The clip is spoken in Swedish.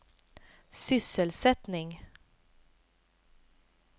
sysselsättning